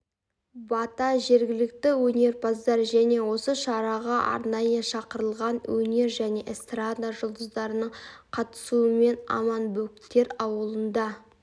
бата жергілікті өнерпаздар және осы шараға арнайы шақырылған өнер және эстрада жұлдыздарының қатысуымен аманбөктер ауылында